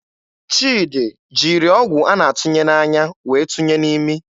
Chidi jiri ọgwụ a na-atụnye n'anya wee tụnye n'imi.